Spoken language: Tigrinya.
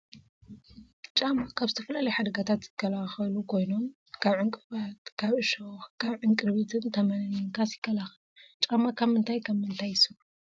ጫማ ካብ ዝተፈላዩ ሓደጋታት ዝከላከሉ ኮይኖም ካብ ዕንቀፍቲ፣ ካብ እሸክ ፣ ካብ ዕንቅሪቢትን ፣ ተመንን ምንካስ ይከላከሉ። ጫማ ካብ ምንታይ ካብ ምንታይ ይስርሑ ?